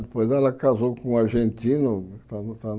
Depois ela casou com um argentino, está está